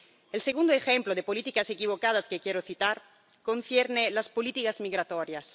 El segundo ejemplo de políticas equivocadas que quiero citar concierne a las políticas migratorias.